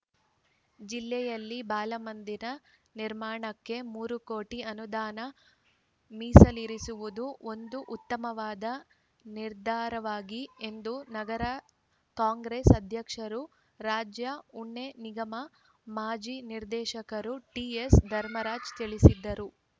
ಜಿಲ್ಲೆಯಲ್ಲಿ ಬಾಲಮಂದಿರ ನಿರ್ಮಾಣಕ್ಕೆ ಮೂರು ಕೋಟಿ ಅನುದಾನ ಮೀಸಲಿರಿಸಿರುವುದು ಒಂದು ಉತ್ತಮವಾದ ನಿರ್ಧಾರವಾಗಿ ಎಂದು ನಗರ ಕಾಂಗ್ರೆಸ್‌ ಅಧ್ಯಕ್ಷರು ರಾಜ್ಯ ಉಣ್ಣೆ ನಿಗಮ ಮಾಜಿ ನಿರ್ದೇಶಕರು ಟಿಎಸ್‌ ಧರ್ಮರಾಜ್‌ ತಿಳಿಸಿದ್ದಾರೆ